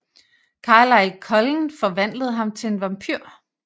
Carlisle Cullen forvandlede ham til en vampyr